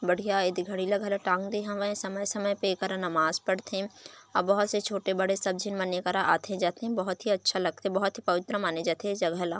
बढ़िया एदे घड़ी ल घला टाँग दे हावे समय समय पे ऐकरा नमाज़ पढ़थे अब बहुत से छोटे बड़े सब झीन मन एकरा आथे जाथे बहोत ही अच्छा लगथे बहोत ही पवित्र माने जाथे ए जगह ला --